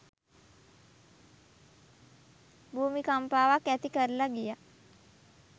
භූමි කම්පාවක් ඇති කරලා ගියා.